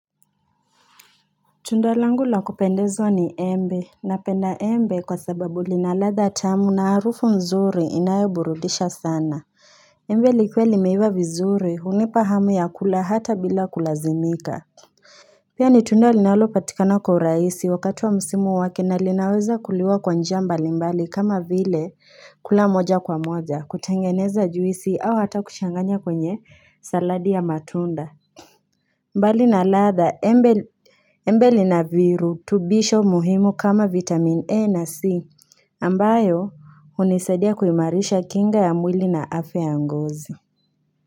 Tunda langu la kupendeza ni embe, napenda embe kwa sababu lina ladha tamu na harufu nzuri inayoburudisha sana. Embe likuwe limeiva vizuri, hunipa hamu ya kula hata bila kulazimika. Pia ni tunda linalopatikana kwa urahisi wakati wa msimu wake na linaweza kuliwa kwa njia mbalimbali kama vile kula moja kwa moja, kutengeneza juisi au hata kuchanganya kwenye saladi ya matunda. Mbali na ladha, embe linavirutubisho muhimu kama vitamin E na C, ambayo hunisadia kuimarisha kinga ya mwili na afya ya ngozi.